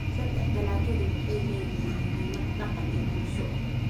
Saddex, dalagyadu waxay leeyihiin muhiimad dhaqan iyo bulsho.